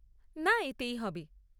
না, এতেই হবে।